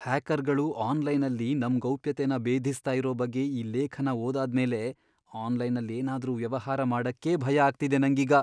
ಹ್ಯಾಕರ್ಗಳು ಆನ್ಲೈನಲ್ಲಿ ನಮ್ ಗೌಪ್ಯತೆನ ಬೇಧಿಸ್ತಾ ಇರೋ ಬಗ್ಗೆ ಈ ಲೇಖನ ಓದಾದ್ಮೇಲೆ ಆನ್ಲೈನಲ್ಲ್ ಏನಾದ್ರೂ ವ್ಯವಹಾರ ಮಾಡಕ್ಕೇ ಭಯ ಆಗ್ತಿದೆ ನಂಗೀಗ.